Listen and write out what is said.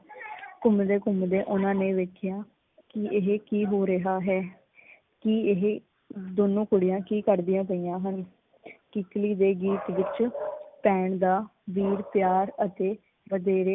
ਘੁਮੰਦੇ ਘੁਮੰਦੇ ਓਹਨਾਂ ਨੇ ਵੇਖਿਆ ਕੀ ਇਹ ਕੀ ਹੋ ਰਿਹਾ ਹੈ। ਕੀ ਇਹ ਦੋਨੋ ਕੁੜੀਆਂ ਕੀ ਕਰਦੀ ਪਈਆਂ ਹਨ? ਕਿੱਕਲੀ ਦੇ ਗੀਤ ਵਿੱਚ ਭੈਣ ਦਾ ਵੀਰ ਪਿਆਰ ਅਤੇ ਵਧੇਰੇ